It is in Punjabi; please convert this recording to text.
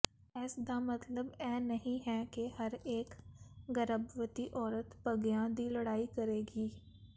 ਇਸਦਾ ਮਤਲਬ ਇਹ ਨਹੀਂ ਹੈ ਕਿ ਹਰੇਕ ਗਰਭਵਤੀ ਔਰਤ ਭੰਗਿਆਂ ਦੀ ਲੜਾਈ ਕਰੇਗੀ